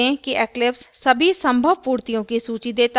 ध्यान दें कि eclipse सभी संभव पूर्तियों की सूची देता है